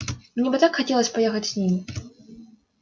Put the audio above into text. мне бы так хотелось поехать с ними